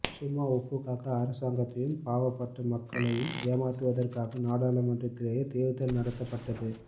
சும்மா ஒப்புக்காக அரசாங்கத்தையும் பாவப்பட்ட மக்களையும் ஏமாற்றுவதற்காக நகர்மன்றதிலே தேர்தல் நடத்த பட்டது